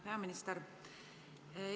Peaminister!